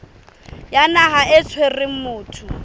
ya naha e tshwereng motho